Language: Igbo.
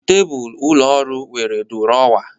Tebụl ụlọ ọrụ nwere duruowa